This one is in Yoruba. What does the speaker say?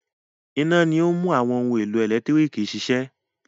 Iná ni ó ń mú àwọn ohun-èlò ẹ̀lẹ́tíríkì ṣiṣẹ́.